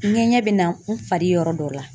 Ŋɛɲɛ be na n fari yɔrɔ dɔ la.